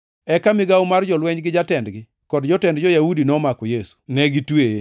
Eka migawo mar jolweny gi jatendgi kod jotend jo-Yahudi nomako Yesu. Ne gitweye